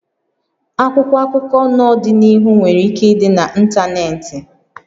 Akwụkwọ akụkọ n'ọdịnihu nwere ike ịdị na ntanetị